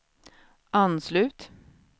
anslut